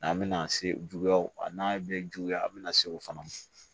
N'an bɛna se juguyaw ma a n'a bɛ juguya an bɛna se o fana ma